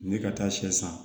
Ne ka taa sɛ san